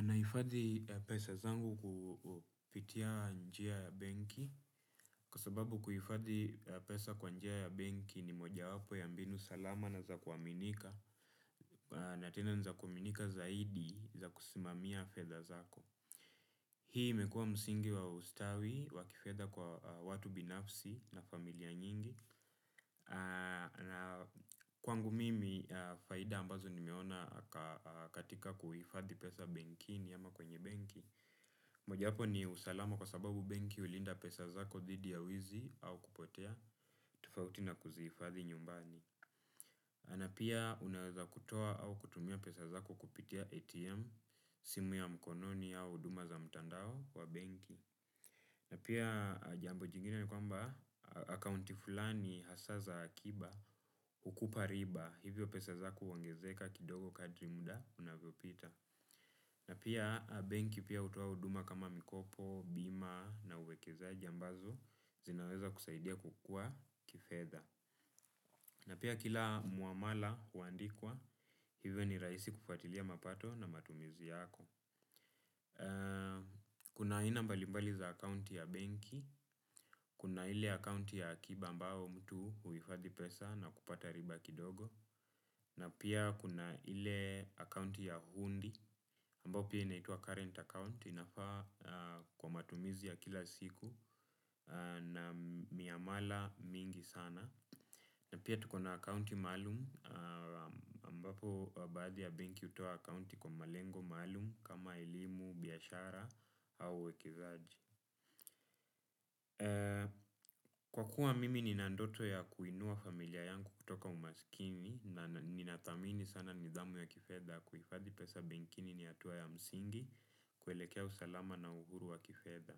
Naifadhi pesa zangu kupitia njia ya benki kwa sababu kuifadhi pesa kwa njia ya benki ni mojawapo ya mbinu salama na za kuaminika na tena ni za kuaminika zaidi za kusimamia fedha zako. Hii imekua msingi wa ustawi wa kifedha kwa watu binafsi na familia nyingi na kwangu mimi faida ambazo nimeona katika kuifadhi pesa benkini ama kwenye benki. Mojawapo ni usalama, kwa sababu benki hulinda pesa zako dhidi ya wizi au kupotea, tofauti na kuzihifadhi nyumbani. Na pia unaweza kutoa au kutumia pesa zako kupitia ATM, simu ya mkononi au huduma za mtandao wa benki. Na pia jambo jingine ni kwamba, akaunti fulani hasa za akiba, hukupa riba, hivyo pesa zako huongezeka kidogo kadri muda unavyopita. Na pia benki pia hutoa huduma kama mikopo, bima na uwekezaji ambazo zinaweza kusaidia kukua kifedha. Na pia kila muamala huandikwa, hivyo ni raisi kufuatilia mapato na matumizi yako. Kuna aina mbali mbali za akaunti ya benki, kuna ile akaunti ya akiba ambayo mtu huifadhi pesa na kupata riba kidogo. Na pia kuna ile account ya hundi, ambayo pia inaitwa current account inafaa kwa matumizi ya kila siku na miamala mingi sana. Na pia tuko na account maalum, ambapo baadhi ya benki hutoa account kwa malengo maalum kama elimu, biashara au uwekizaji. Kwa kuwa mimi nina ndoto ya kuinua familia yangu kutoka umaskini na ninathamini sana nidhamu ya kifedha kuifadhi pesa benkini ni hatua ya msingi, kuelekea usalama na uhuru wa kifedha,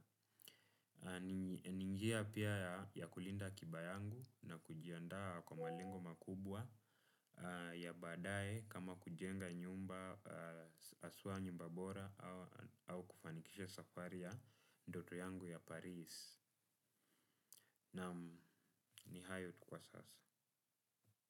ni njia pia ya kulinda akiba yangu na kujiandaa kwa malengo makubwa ya baadaye kama kujenga nyumba hasua nyumba bora, au kufanikisha safari ya ndoto yangu ya Paris. Naam ni hayo tu kwa sasa.